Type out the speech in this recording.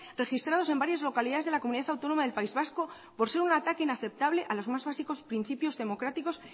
registrados en varias localidades de la comunidad autonoma del país vasco por ser un ataque inaceptable a los más básicos principios democráticos